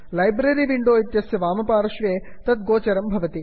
library window library window इत्यस्य वामपार्श्वे तत् गोचरं भवति